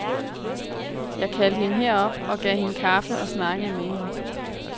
Jeg kaldte hende herop, og gav hende kaffe og snakkede med hende.